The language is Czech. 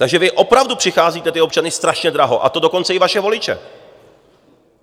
Takže vy opravdu přicházíte ty občany strašně draho, a to dokonce i vaše voliče.